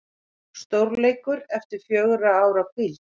Stórleikur eftir fjögurra ára hvíld